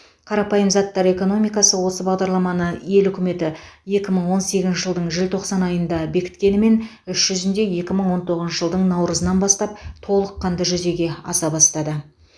қарапайым заттар экономикасы осы бағдарламаны ел үкіметі екі мың он сегізінші жылдың желтоқсан айында бекіткенімен іс жүзінде екі мың он тоғызыншы жылдың наурызынан бастап толыққанды жүзеге аса бастады